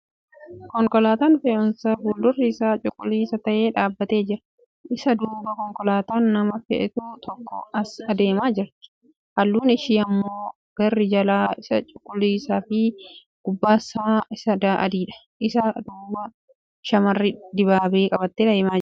Konkolaataan fe'umsaa fuuldurri isaa cuquliisa ta'e dhaabbatee jira. Isa duuba konkolaataan nama feetu tokko as adeemaa jirti. Halluun ishee immoo garri jalaa isaa cuquliisa fi gubbasn isaa adiidha. Isa duuba Shamarri dibaabee qabattee deemaa jirti.